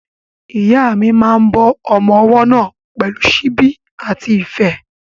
Ìyá mi máa ń bọ́ ọmọ ọwọ́ náà pẹ̀lú síbí àti ife.